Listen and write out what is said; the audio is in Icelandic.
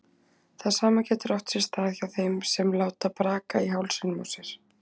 Það sama getur átt sér stað hjá þeim sem láta braka í hálsinum á sér.